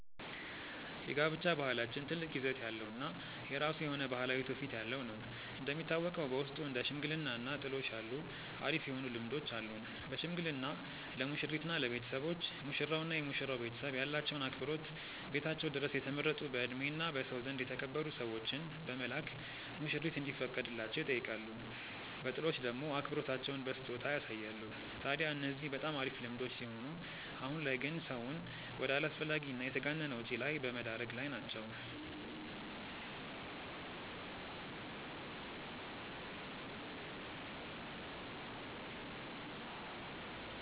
የጋብቻ ባህላችን ትልቅ ይዘት ያለው እና የራሱ የሆነ ባህላዊ ትውፊት ያለው ነው። እንደሚታወቀው በውስጡ እንደ ሽምግልና እና ጥሎሽ ያሉ አሪፍ የሆኑ ልምዶች አሉን። በሽምግልና ለሙሽሪት እና ለቤተሰቦች፤ ሙሽራው እና የመሽራው ቤተሰብ ያላቸውን አክብሮት ቤታቸው ድረስ የተመረጡ በእድሜ እና በሰው ዘንድ የተከበሩ ሰዎችን በመላክ ሙሽሪት እንዲፈቀድላቸው ይጠይቃሉ። በጥሎሽ ደሞ አክብሮታቸውን በስጦታ ያሳያሉ። ታድያ እነዚህ በጣም አሪፍ ልምዶች ሲሆኑ አሁን ላይ ግን ሰውን ወደ አላስፈላጊ እና የተጋነነ ወጪ ላይ በመደረግ ላይ ናቸው።